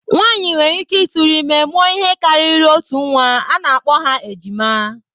Nwaanyị nwereike tụrụ ime, mụọ ihe karịrị otu nnwa, a na-akpọ ha ejima